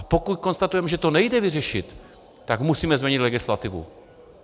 A pokud konstatujeme, že to nejde vyřešit, tak musíme změnit legislativu.